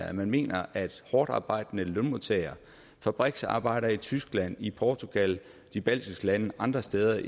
at man mener at hårdtarbejdende lønmodtagere fabriksarbejdere i tyskland i portugal de baltiske lande andre steder